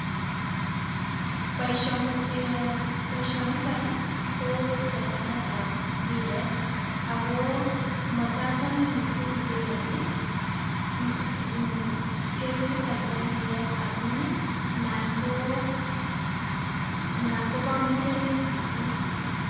Boisioni um boisioniton ii kochesanetab mpiret ago motochome missing' mpirani um keminoton nibo mpiret amun anan koo kobo murenik missing'.